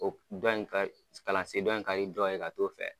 O dɔ in ka kalansen dɔ in ka di dɔ in ye ka t'o fɛ.